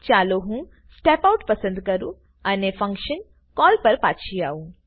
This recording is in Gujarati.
ચાલો હું સ્ટેપ આઉટ પસંદ કરું અને ફંક્શન કોલ પર પછી આવું